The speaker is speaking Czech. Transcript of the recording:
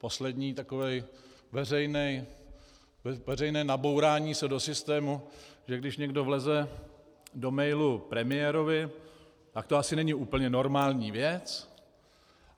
Poslední takové veřejné nabourání se do systému, že když někdo vleze do mailu premiérovi, tak to asi není úplně normální věc.